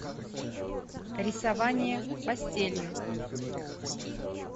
рисование пастелью